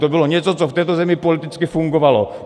To bylo něco, co v této zemi politicky fungovalo.